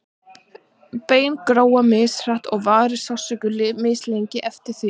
bein gróa mishratt og varir sársauki mislengi eftir því